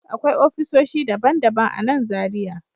Akwai ofisoshi daban-daban a nan Zariya